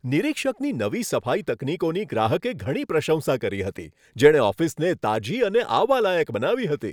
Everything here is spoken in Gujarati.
નિરીક્ષકની નવી સફાઈ તકનીકોની ગ્રાહકે ઘણી પ્રશંસા કરી હતી, જેણે ઓફિસને તાજી અને આવવાલાયક બનાવી હતી.